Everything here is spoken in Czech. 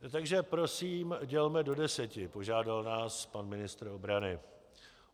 Takže prosím, dělme do deseti, požádal nás pan ministr obrany.